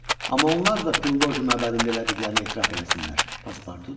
Amma onlar da Pilloji məbədində elədiklərini etiraf eləsinlər, Paspartu dedi.